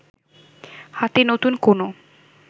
হাতে নতুন কোন